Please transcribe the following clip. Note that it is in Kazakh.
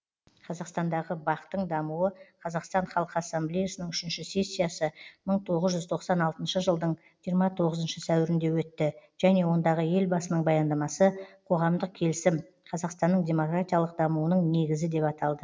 қазақстандағы бақ тың дамуы қазақстан халқы ассамблеясының үшінші сессиясы мың тоғыз жүз тоқсан алтыншы жылдың жиырма тоғызыншы сәуірінде өтті және ондағы елбасының баяндамасы қоғамдық келісім қазақстанның демократиялық дамуының негізі деп аталды